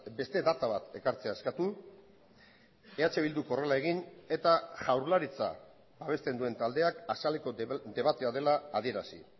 beste data bat ekartzea eskatu eh bilduk horrela egin eta jaurlaritza babesten duen taldeak azaleko debatea dela adierazi